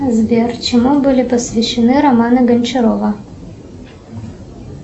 сбер чему были посвящены романы гончарова